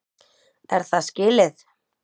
Er það skilið?!